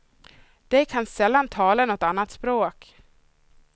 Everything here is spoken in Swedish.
De kan sällan tala något annat språk.